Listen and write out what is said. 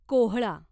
कोहळा